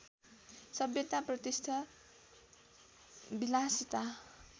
सभ्यता प्रतिष्ठा विलासिता